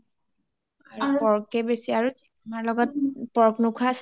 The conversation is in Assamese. আৰু pork কে বেছি আৰু আমাৰ লগত pork নুখোৱা আছে